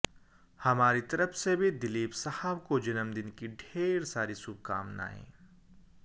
हमारी तरफ से भी दिलीप साहब को जन्मदिन की ढेर सारी शुभकामनाएं